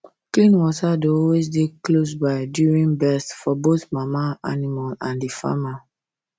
clean water dey always dey close by during birth for both mama animal and the farmer